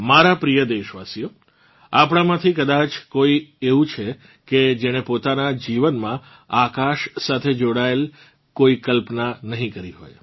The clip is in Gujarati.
મારાં પ્રિય દેશવાસીઓ આપણમાંથી કદાચ જ કોઇ એવું છે કેજેણે પોતાનાં જીવનમાં આકાશ સાથે જોડાયેલ કોઇ કલ્પના નહીં કરી હોય